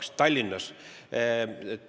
See toimub Tallinnas.